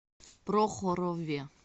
прохорове